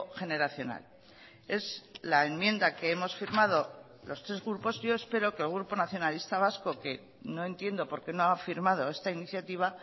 generacional es la enmienda que hemos firmado los tres grupos yo espero que el grupo nacionalista vasco que no entiendo porqué no ha firmado esta iniciativa